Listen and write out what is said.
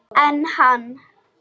En hann!